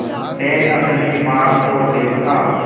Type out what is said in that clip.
से अपनी माँ को देखा